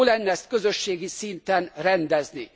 Jó lenne ezt közösségi szinten rendezni.